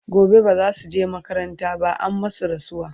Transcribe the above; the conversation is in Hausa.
gobe bazasuje makaranta ba an masu rasuwa